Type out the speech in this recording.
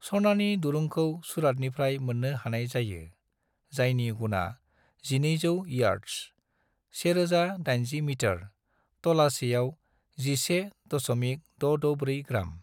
सनानि दुरुंखौ सूरतनिफ्राय मोननो हानाय जायो, जायनि गुना 1200 यार्दस (1080 मीटर) तलासेआव (11.664 ग्राम)।